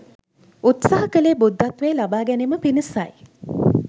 උත්සහ කළේ බුද්ධත්වය ලබා ගැනීම පිණිසයි.